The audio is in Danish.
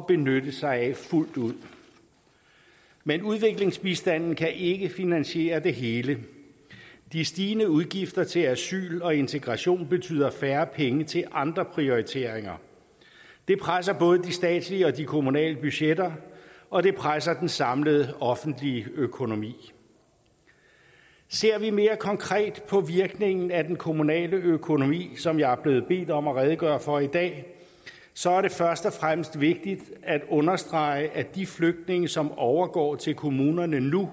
benytte sig af fuldt ud men udviklingsbistanden kan ikke finansiere det hele de stigende udgifter til asyl og integration betyder færre penge til andre prioriteringer det presser både de statslige og de kommunale budgetter og det presser den samlede offentlige økonomi ser vi mere konkret på virkningen af den kommunale økonomi som jeg er blevet bedt om at redegøre for i dag så er det først og fremmest vigtigt at understrege at de flygtninge som overgår til kommunerne nu